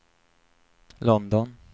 London